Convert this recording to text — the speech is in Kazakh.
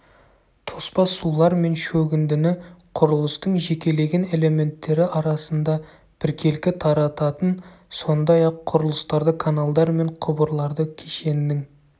тоспа сулар мен шөгіндіні құрылыстың жекелеген элементтері арасында біркелкі тарататын сондай-ақ құрылыстарды каналдар мен құбырларды кешеннің